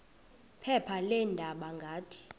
phepha leendaba ngathi